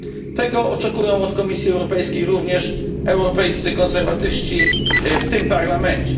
Tego oczekują od Komisji Europejskiej również europejscy konserwatyści w tym parlamencie.